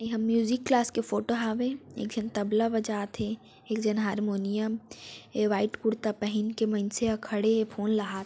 ये ह music class के फोटो हावय एक झन तबला बजात हे एक झन हरमुनियम व्हाइट कुर्ता पहनकर मइनसे ह खड़े हे फोन ल हाथ--